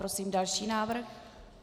Prosím další návrh.